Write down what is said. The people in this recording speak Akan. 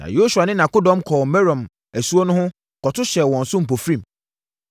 Na Yosua ne nʼakodɔm kɔɔ Merom asuo no ho kɔto hyɛɛ wɔn so mpofirim.